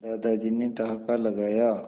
दादाजी ने ठहाका लगाया